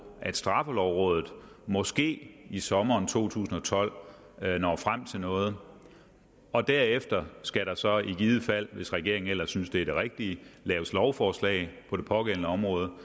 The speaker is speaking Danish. straffelovrådet når måske i sommeren to tusind og tolv frem til noget og derefter skal der så i givet fald hvis regeringen ellers synes det er det rigtige laves lovforslag på det pågældende område og